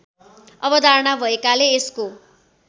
अवधारणा भएकाले यसको